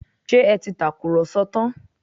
Ṣé ẹ ti tàkùrọ̀sọ tán?